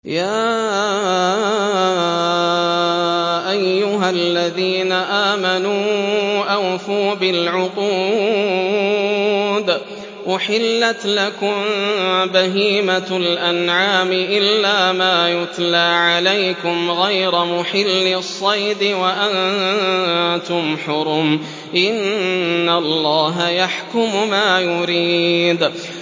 يَا أَيُّهَا الَّذِينَ آمَنُوا أَوْفُوا بِالْعُقُودِ ۚ أُحِلَّتْ لَكُم بَهِيمَةُ الْأَنْعَامِ إِلَّا مَا يُتْلَىٰ عَلَيْكُمْ غَيْرَ مُحِلِّي الصَّيْدِ وَأَنتُمْ حُرُمٌ ۗ إِنَّ اللَّهَ يَحْكُمُ مَا يُرِيدُ